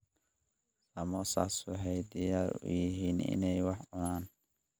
Samosas waxay diyaar u yihiin inay wax cunaan.